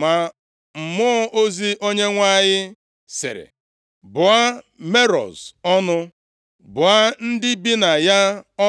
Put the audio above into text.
Ma Mmụọ ozi Onyenwe anyị sịrị, ‘Bụọ Meroz + 5:23 Meroz bụ obodo dị nʼebo Naftalị. Ha